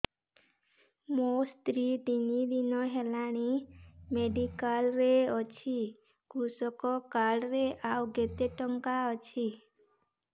ମୋ ସ୍ତ୍ରୀ ତିନି ଦିନ ହେଲାଣି ମେଡିକାଲ ରେ ଅଛି କୃଷକ କାର୍ଡ ରେ ଆଉ କେତେ ଟଙ୍କା ଅଛି